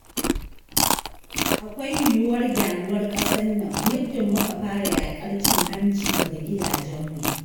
Akwai yuwuwar gyaruwar ƙasar nan, muddun muka fara yaƙar cin hanci daga gidajenmu.